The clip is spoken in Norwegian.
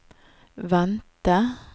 vente